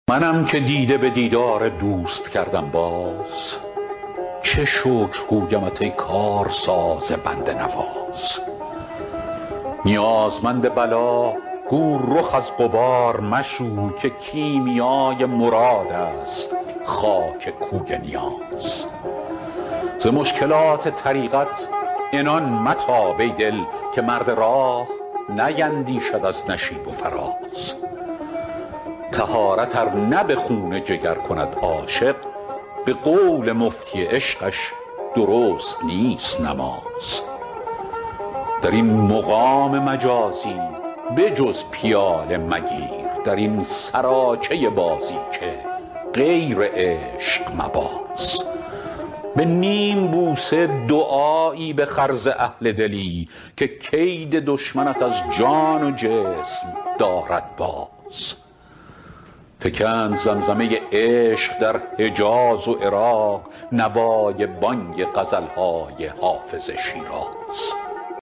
منم که دیده به دیدار دوست کردم باز چه شکر گویمت ای کارساز بنده نواز نیازمند بلا گو رخ از غبار مشوی که کیمیای مراد است خاک کوی نیاز ز مشکلات طریقت عنان متاب ای دل که مرد راه نیندیشد از نشیب و فراز طهارت ار نه به خون جگر کند عاشق به قول مفتی عشقش درست نیست نماز در این مقام مجازی به جز پیاله مگیر در این سراچه بازیچه غیر عشق مباز به نیم بوسه دعایی بخر ز اهل دلی که کید دشمنت از جان و جسم دارد باز فکند زمزمه عشق در حجاز و عراق نوای بانگ غزل های حافظ از شیراز